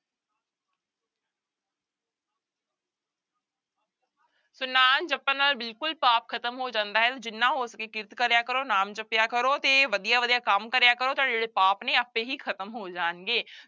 ਸੋ ਨਾਮ ਜਪਣ ਨਾਲ ਬਿਲਕੁਲ ਪਾਪ ਖ਼ਤਮ ਹੋ ਜਾਂਦਾ ਹੈ ਜਿੰਨਾ ਹੋ ਸਕੇ ਕਿਰਤ ਕਰਿਆ ਕਰੋ, ਨਾਮ ਜਪਿਆ ਕਰੋ ਤੇ ਵਧੀਆ ਵਧੀਆ ਕੰਮ ਕਰਿਆ ਕਰੋ, ਤੁਹਾਡੇ ਜਿਹੜੇ ਪਾਪ ਨੇ ਆਪੇ ਹੀ ਖ਼ਤਮ ਹੋ ਜਾਣਗੇ।